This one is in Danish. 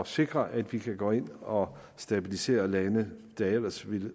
sikre at vi kan gå ind og stabilisere lande der ellers ville